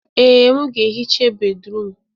Ee, m ga-ehicha bédrụum.